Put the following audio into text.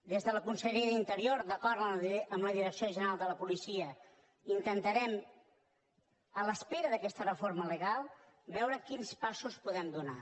des de la conselleria d’interior d’acord amb la direcció general de la policia intentarem a l’espera d’aquesta reforma legal veure quins passos podem donar